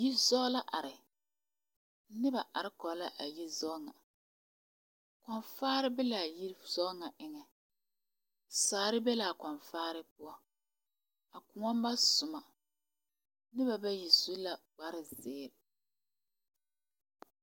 Yiri zaŋe la are noba are kóɔ la a yizaŋ ŋa kɔnvaare be la a yizaŋ ŋa eŋa sagere be la a kɔnvaare poɔ ka kóɔ ba soma noba bayi su la kpar zeere